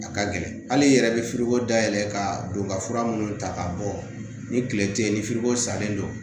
A ka gɛlɛn hali i yɛrɛ bɛ dayɛlɛ ka don ka fura minnu ta ka bɔ ni kile tɛ ye ni ko salen don